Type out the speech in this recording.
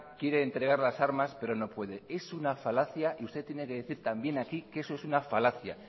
quiere entregar las armas pero no puede es una falacia y usted tiene que decir también aquí que eso es una falacia